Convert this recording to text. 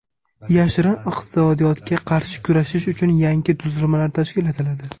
Yashirin iqtisodiyotga qarshi kurashish uchun yangi tuzilmalar tashkil etiladi.